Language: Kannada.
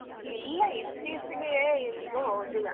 ಇಲ್ಲ ಎಲ್ಲಿಗೂ ಹೋಗ್ಲಿಲ್ಲ.